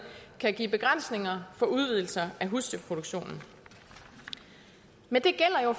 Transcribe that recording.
kan give begrænsninger for udvidelser af husdyrproduktionen men det gælder jo